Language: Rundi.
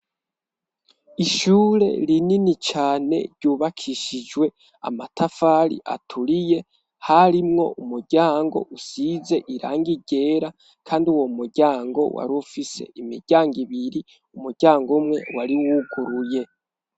Ishure rinini cane ryubakishijwe amatafari aturiye, harimwo umuryango usize irangi ryera kandi uwo muryango war' ufise imiryango ibiri umuryang' umwe wari wuguruye.